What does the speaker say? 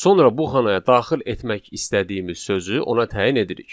Sonra bu xanaya daxil etmək istədiyimiz sözü ona təyin edirik.